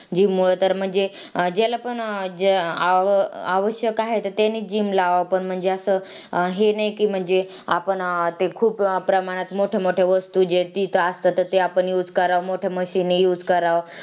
gym मुळे तर म्हणजे ज्याला पण अह आवश्यक आहे त त्यांनी gym लावव पण म्हणजे अस हे नाही कि म्हणजे आपण ते खूप प्रमाणात मोठ्या मोठ्या वस्तू जे तिथ ते असतात त्या use कराव मोठ्या machine use कराव.